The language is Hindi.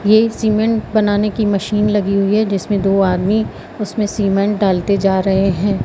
ये सीमेंट बनाने की मशीन लगी हुई है जिसमें दो आदमी उसमें सीमेंट डालते जा रहे हैं।